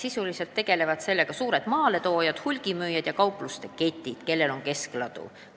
Sisuliselt tegelevad sellega suured maaletoojad, hulgimüüjad ja kaupluseketid, kellel on keskladu.